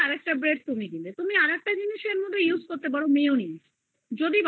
bread উপর এ দিয়ে দিবে তুমি আরেকটা জিনিস use করতে পারো mayonese